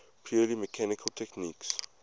purely mechanical techniques